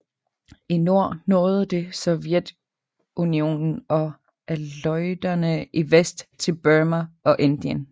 I nord nåede det Sovjetunionen og Aleuterne i vest til Burma og Indien